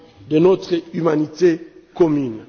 de notre humanité commune.